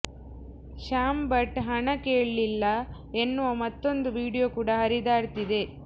ಶ್ಯಾಮ್ ಭಟ್ ಹಣ ಕೇಳಿಲ್ಲ ಎನ್ನುವ ಮತ್ತೊಂದು ವೀಡಿಯೋ ಕೂಡ ಹರಿದಾಡ್ತಿದೆ